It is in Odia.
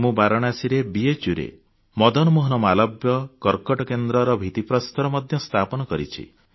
ମୁଁ ବାରାଣସୀର BHUରେ ମହାମନା ମଦନମୋହନ ମାଲବ୍ୟ କର୍କଟ କେନ୍ଦ୍ରର ଭିତ୍ତି ପ୍ରସ୍ତର ମଧ୍ୟ ସ୍ଥାପନ କରିଛି